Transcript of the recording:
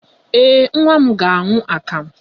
Ee, nwa m ga-aṅụ akamụ.